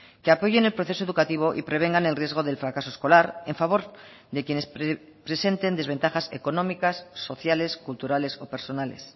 que apoyen el proceso educativo y prevengan el riesgo del fracaso escolar en favor de quienes presenten desventajas económicas sociales culturales o personales